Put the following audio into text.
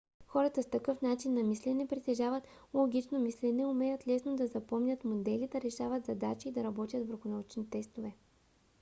хора с такъв начин на мислене притежават логично мислене умеят лесно да запомнят модели да решават задачи и да работят върху научни тестове